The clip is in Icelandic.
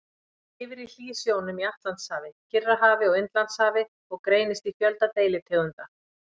Hann lifir í hlýsjónum í Atlantshafi, Kyrrahafi og Indlandshafi og greinist í fjölda deilitegunda.